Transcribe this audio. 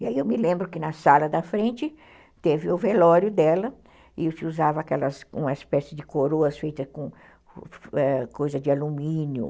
E aí eu me lembro que na sala da frente teve o velório dela e se usava uma espécie de coroas feita com coisa de alumínio.